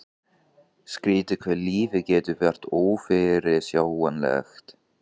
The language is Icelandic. Skrýtið hvað lífið getur verið ófyrirsjáanlegt.